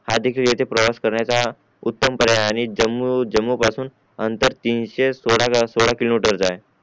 हा इथे प्रवास करण्याचा उत्तम पर्याय आहे आणि जम्मू जम्मू पासून आंतर तीनशे सोळा सोळा किलोमीटर चा आहे